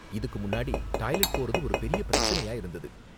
இதுக்கு முன்னாடி டாய்லெட் போறது ஒரு பெரிய பிரச்சனையா இருந்தது.